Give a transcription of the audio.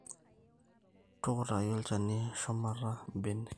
tukutaki olchani shumata imm`benek